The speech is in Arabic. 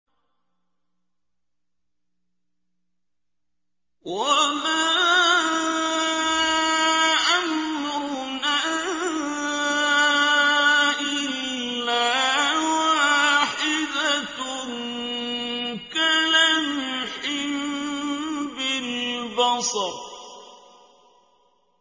وَمَا أَمْرُنَا إِلَّا وَاحِدَةٌ كَلَمْحٍ بِالْبَصَرِ